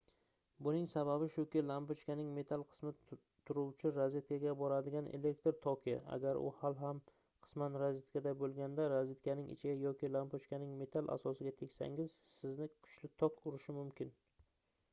buning sababi shuki lampochkaning metall qismi turuvchi rozetkaga boradigan elektr toki agar u hali ham qisman rozetkada boʻlganda rozetkaning ichiga yoki lampochkaning metall asosiga tegsangiz sizni kuchli tok urishi mumkin